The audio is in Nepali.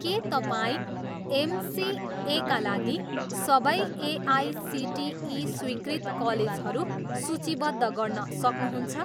के तपाईँ एमसिएका लागि सबै एआइसिटिई स्वीकृत कलेजहरू सूचीबद्ध गर्न सक्नुहुन्छ?